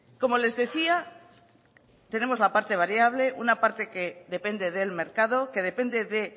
como les decía tenemos la parte variable una parte que depende del mercado que depende de